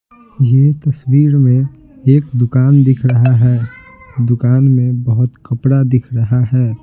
ये तस्वीर में एक दुकान दिख रहा है दुकान में बहुत कपड़ा दिख रहा है।